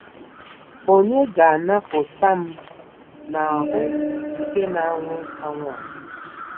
Ònye ga-anapụta m n'ahụ́ nke na-anwụ anwụ a?